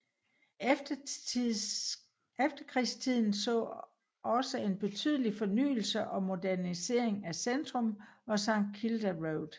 Efterkrigstiden så også en betydelig fornyelse og modernisering af centrum og St Kilda Road